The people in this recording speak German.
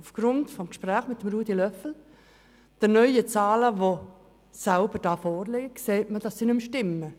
Aufgrund des Gesprächs mit Ruedi Löffel sehe ich, dass die Zahlen nicht mehr stimmen.